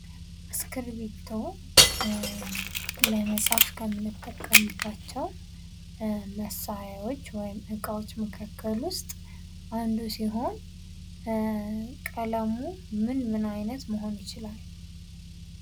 እስክርቢቶ ለመፃፍ ከምንጠቀምባቸው መሳሪያዎች ወይም እቃዎች መካከል ውስጥ አንዱ ሲሆን ቀለሙ ምን ምን አይነት ሊሆን ይችላል?